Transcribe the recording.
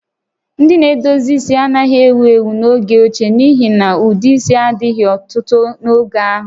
Ndị na-edozi isi anaghị ewu ewu n'oge ochie n'ihi na ụdị isi a dịghị ọtụtụ n'oge ahụ